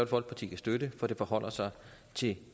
folkeparti kan støtte for det forholder sig til